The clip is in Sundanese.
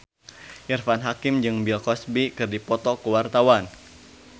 Irfan Hakim jeung Bill Cosby keur dipoto ku wartawan